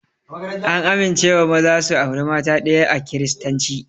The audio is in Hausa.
An amincewa maza su aure mata ɗaya a kiristanci